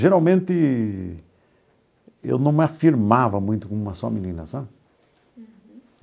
Geralmente, eu não me afirmava muito como uma só menina, sabe?